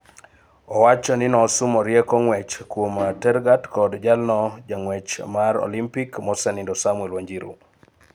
Owacho ni nosumo rieko ng'wech kuom Tergat kod jalno jang'wech mar Olympic, mosenindo Samuel Wanjiru